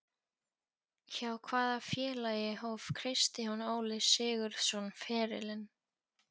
Hjá hvaða félagi hóf Kristján Óli Sigurðsson ferilinn?